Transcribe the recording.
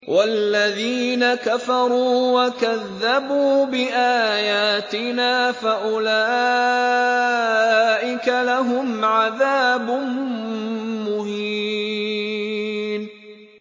وَالَّذِينَ كَفَرُوا وَكَذَّبُوا بِآيَاتِنَا فَأُولَٰئِكَ لَهُمْ عَذَابٌ مُّهِينٌ